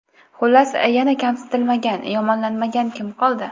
Xullas, yana kamsitilmagan, yomonlanmagan kim qoldi?